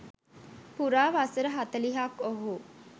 පුරා වසර හතළිහක් ඔහු